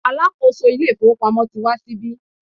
alákóso ilé ifowópamọ́ ti wá sí ibí